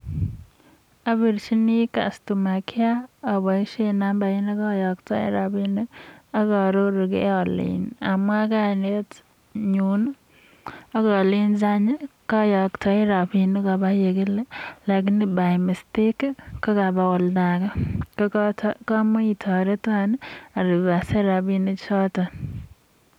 Obirchini customer care oboishen nambarit nekoyoktoen rabinik ak aarorugee amwaa kainenyuun, ak olenji koyoktoi rabinik lakini by mistake kogaba ol'daage.